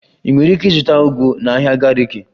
Ị nwere ike ịzụta ugu na ahịa Gariki